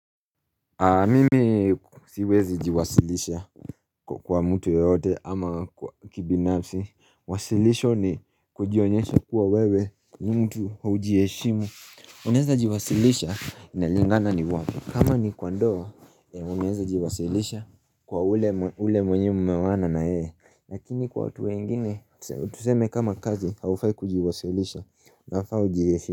Mimi siwezi jiwasilisha kwa mtu yoyote ama kibinafsi Wasilisho ni kujionyesha kuwa wewe ni mtu haujiheshimu Unaeza jiwasilisha inalingana ni wapi kama ni kwa ndoa unaeza jiwasilisha kwa ule mwenye mmeoana na yeye Lakini kwa watu wengine, tuseme kama cousin haufai kujiwasilisha inafaa ujiheshimu.